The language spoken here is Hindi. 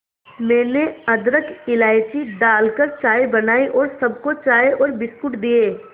मैंने अदरक इलायची डालकर चाय बनाई और सबको चाय और बिस्कुट दिए